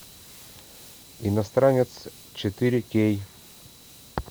иностранец четыре кей